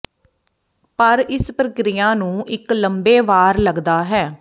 ਪਰ ਇਸ ਪ੍ਰਕਿਰਿਆ ਨੂੰ ਇੱਕ ਲੰਬੇ ਵਾਰ ਲੱਗਦਾ ਹੈ